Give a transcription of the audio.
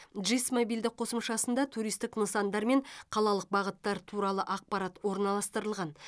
жис мобильдік қосымшасында туристік нысандар мен қалалық бағыттар туралы ақпарат орналастырылған